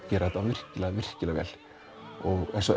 gera þetta virkilega virkilega vel